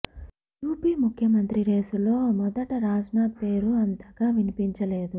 UP ముఖ్యమంత్రి రేసులో మొదట రాజ్ నాథ్ పేరు అంతగా వినిపించలేదు